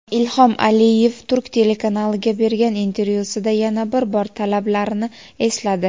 Ilhom Aliyev turk telekanaliga bergan intervyusida yana bir bor talablarini esladi.